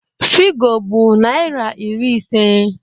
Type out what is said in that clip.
Figo bụ naịra iri ise